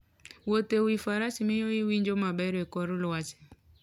Wuotho e wi faras miyo iwinjo maber e kor lwasi.